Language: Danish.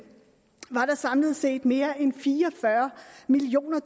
var der samlet set mere end fire og fyrre millioner